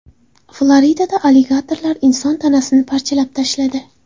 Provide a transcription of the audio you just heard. Floridada aligatorlar inson tanasini parchalab tashladi.